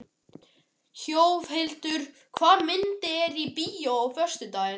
Þjóðhildur, hvaða myndir eru í bíó á föstudaginn?